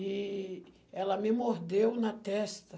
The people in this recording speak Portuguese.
E ela me mordeu na testa.